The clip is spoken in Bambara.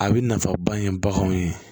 A bɛ nafaba ye baganw ye